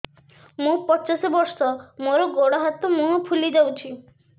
ମୁ ପଚାଶ ବର୍ଷ ମୋର ଗୋଡ ହାତ ମୁହଁ ଫୁଲି ଯାଉଛି